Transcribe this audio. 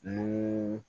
Ni